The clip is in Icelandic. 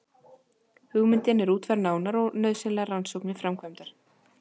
Hugmyndin er útfærð nánar og nauðsynlegar rannsóknir framkvæmdar.